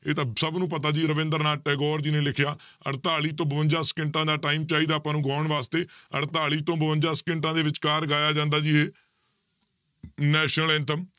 ਇਹ ਤਾਂ ਸਭ ਨੂੰ ਪਤਾ ਜੀ ਰਬਿੰਦਰਨਾਥ ਟੈਗੋਰ ਜੀ ਨੇ ਲਿਖਿਆ ਅੜਤਾਲੀ ਤੋਂ ਬਵੰਜਾ ਸਕਿੰਟਾਂ ਦਾ time ਚਾਹੀਦਾ ਆਪਾਂ ਨੂੰ ਗਾਉਣ ਵਾਸਤੇ ਅੜਤਾਲੀ ਤੋਂ ਬਵੰਜਾ ਸਕਿੰਟਾਂ ਦੇ ਵਿੱਚਕਾਰ ਗਾਇਆ ਜਾਂਦਾ ਜੀ ਇਹ national anthem